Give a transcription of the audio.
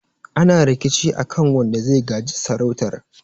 ana rikici a kan wanda zai gaji sarautar